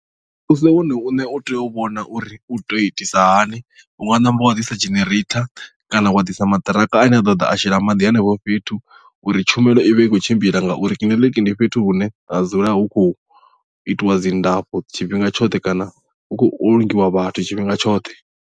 Muvhuso wone uṋe u tea u vhona uri u tea u itisa hani unga ṋamba wa ḓisa genereitha kana wa ḓisa maṱiraka ane a ḓo ḓa a shela maḓi henefho fhethu uri tshumelo ivhe i khou tshimbila ngauri kiḽiniki ndi fhethu hune ha dzula hu khou itiwa dzi ndafho tshifhinga tshoṱhe kana hu khou ulungiwa vhathu tshifhinga tshoṱhe.